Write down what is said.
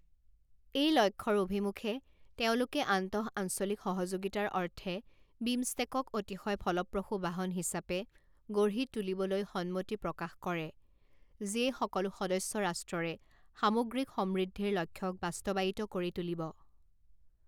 এই লক্ষ্যৰ অভিমুখে, তেওঁলোকে আন্তঃ আঞ্চলিক সহযোগিতাৰ অৰ্থে বিমষ্টেকক অতিশয় ফলপ্ৰসূ বাহন হিচাপে গঢ়িু তুলিবলৈ সন্মতি প্ৰকাশ কৰে যিয়ে সকলো সদস্য ৰাষ্ট্ৰৰে সামগ্ৰিক সমৃদ্ধিৰ লক্ষ্যক বাস্তৱায়িত কৰি তুলিব।